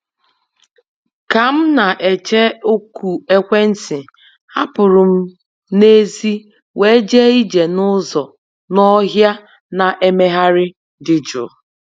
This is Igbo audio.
Ka m na-eche oku ekwentị, apụrụ m n'èzí wee jee ije n’ụzọ n'ọhịa na-emegharị dị jụụ